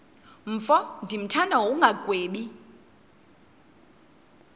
mfo ndimthanda ngokungagwebi